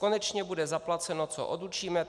Konečně bude zaplaceno, co odučíme.